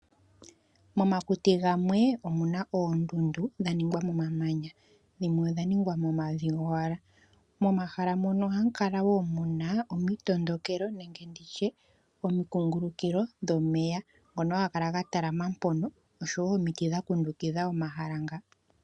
Momakuti gamwe omuna oondundu dhaningwa momamanya dhimwe odha ningwa momavi gowala . Momahala mono ohamu kala woo muna omitondokelo nenge omikungululukilo dhomeya ngono haga kala ga talama mpono oshowo omiti dha kundukidha omahala nga.